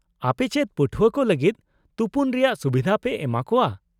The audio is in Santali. -ᱟᱯᱮ ᱪᱮᱫ ᱯᱟᱹᱴᱷᱣᱟᱹ ᱠᱚ ᱞᱟᱹᱜᱤᱫ ᱛᱩᱯᱩᱱ ᱨᱮᱭᱟᱜ ᱥᱩᱵᱤᱫᱷᱟ ᱯᱮ ᱮᱢᱟᱠᱚᱣᱟ ?